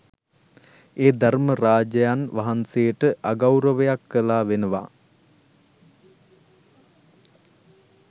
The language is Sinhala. ඒ ධර්ම රාජයන් වහන්සේට අගෞරවයක් කළා වෙනවා